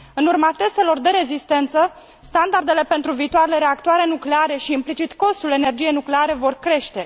În urma testelor de rezistență, standardele pentru viitoarele reactoare nucleare și, implicit, costul energiei nucleare vor crește.